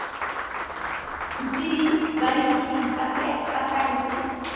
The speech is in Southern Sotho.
botsebi ba ditsebi tsa saense